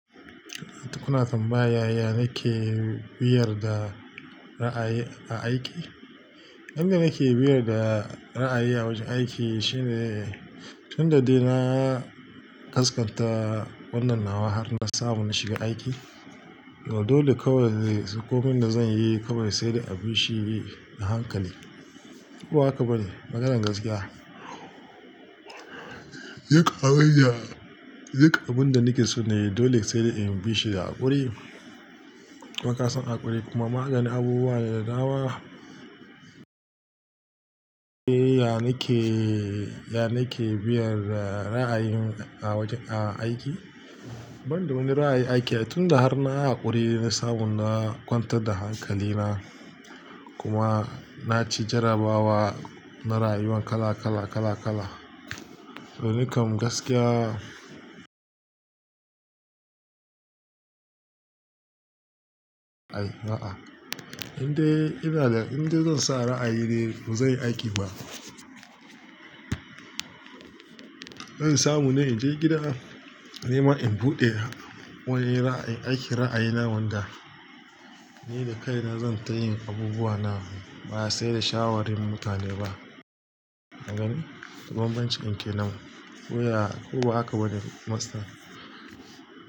Kuna tambaya yayanake biyar da ra'ayi a aiki? Inda nake biyar da ra'ayi a wajen aiki shine tun da dai na kaskanta wannan nawa har na samu na shiga aiki. Dole kawai ko min da zan yi kawai sai da abun shi ne a hankali. Ko haka ba ne? Maganar gaskiya. Duk abun da nake so ne dole sai in bi shi da haƙuri. Kuma kasan haƙuri kuma maganin abubuwa ne da dama. Eh, ya nake, ya nake biyar da ra'ayin a wajen a aiki? Ban da wani ra'ayin aiki tun da har na haƙuri sabon na kwantar da hankalina kuma na ci jarabawa na rayuwan kala kala, kala kala. To nikam gaskiya. Ai, a'a. Inda ina da, inda zan sa ra'ayi dai ba zai aiki ba. Zan samu na in je gida, nima in buɗe wurin aiki ra'ayi na wanda ni da kaina zan ta yin abubuwa na ba sai da shawarin mutane ba. Eh banbancin ke nan. Wuya, ko haka ba ne master?